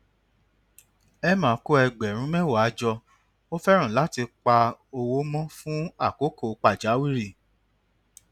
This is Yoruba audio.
emma kó ẹgbèrún méwàá jọ ó fẹràn láti pa owó mó fún àkókò pàjáwìrì